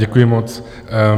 Děkuji moc.